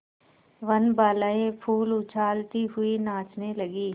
वनबालाएँ फूल उछालती हुई नाचने लगी